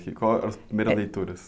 Quais eram as primeiras leituras?